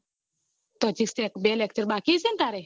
તો હજી step બે lecture બાકી હશે તારે